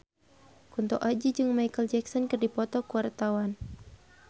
Kunto Aji jeung Micheal Jackson keur dipoto ku wartawan